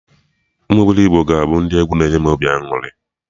Ụmụ obilogbo ka ga-abụ ndị egwu na enye m obi aṅụrị